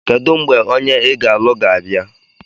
Kedu mgbe onye ị ga-alụ ga-abịa?